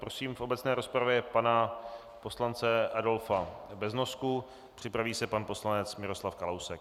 Prosím v obecné rozpravě pana poslance Adolfa Beznosku, připraví se pan poslanec Miroslav Kalousek.